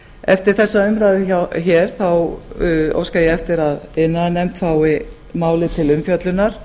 eftir þessa umræðu óska ég eftir að iðnaðarnefnd fái málið til umfjöllunar